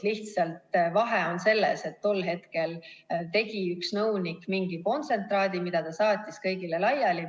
Lihtsalt vahe on selles, et tol hetkel tegi üks nõunik mingi kontsentraadi, mille ta saatis kõigile laiali.